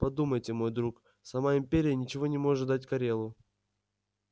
подумайте мой друг сама империя ничего не может дать корелу